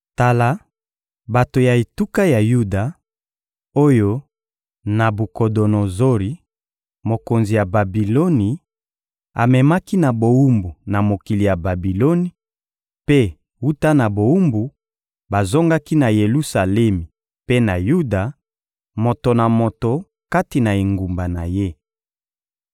Tala bato ya etuka ya Yuda, oyo Nabukodonozori, mokonzi ya Babiloni, amemaki na bowumbu na mokili ya Babiloni, mpe, wuta na bowumbu, bazongaki na Yelusalemi mpe na Yuda, moto na moto kati na engumba na ye.